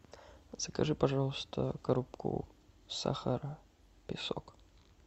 закажи пожалуйста коробку сахара песок